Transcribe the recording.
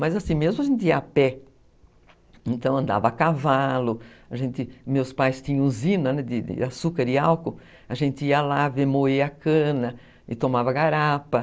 Mas assim, mesmo a gente ia a pé, então andava a cavalo, meus pais tinham usina de açúcar e álcool, a gente ia lá ver moer a cana e tomava garapa.